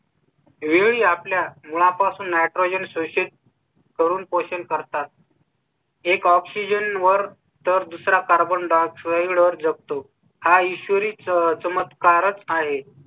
वेळी आपल्या मुला पासून नायट्रोजन शोषण करून क्वेश्चन करतात. एक city have seen by वर तर दुसरा carbon dioxide वर जगतो. हा ईश्वरी चमत्कारच आहे.